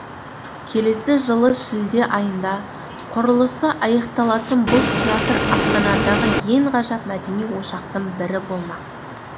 келесі жылы шілде айында құрылысы аяқталатын бұл театр астанадағы ең ғажап мәдени ошақтың бірі болмақ